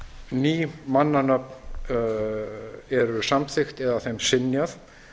ný mannanöfn eru samþykkt eða þeim synjað